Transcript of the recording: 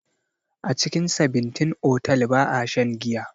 A cikin sabintin otal ba'a shan giya.